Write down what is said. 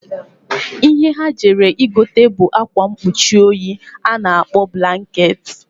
Ihe ha jere igota bu akwa nkpuchi oyi a na-akpọ blaket..